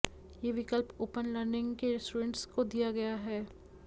ये विकल्प open learning के स्टूडेंट्स को दिया गया है